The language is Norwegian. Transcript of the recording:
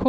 K